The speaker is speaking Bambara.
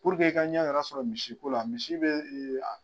Puruke i ka ɲɛ yɛrɛ sɔrɔ misiko la misi bɛ